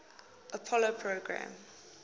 apollo program